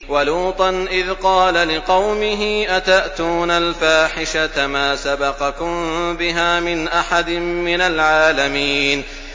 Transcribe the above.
وَلُوطًا إِذْ قَالَ لِقَوْمِهِ أَتَأْتُونَ الْفَاحِشَةَ مَا سَبَقَكُم بِهَا مِنْ أَحَدٍ مِّنَ الْعَالَمِينَ